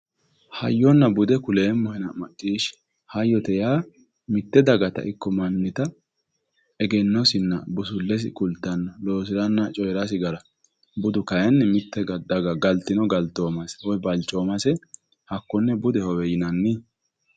hayyonna bude kuleemmohena macciishshi hayyote yaa mitte dagata ikko mannita egennosinna busullesi kultanno loosiranna coyeerasi gara budu kayeenni mitte daga galtino galtese woyi balchoomase hakkonne budehowe yinanni